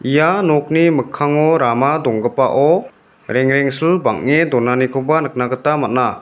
ia nokni mikkango rama donggipao rengrengsil bang·e donanikoba nikna gita man·a.